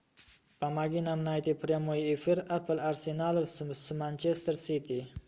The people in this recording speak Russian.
помоги нам найти прямой эфир апл арсенала с манчестер сити